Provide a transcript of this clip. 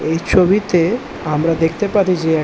এই ছবিতে আমরা দেখতে পারি যে এক --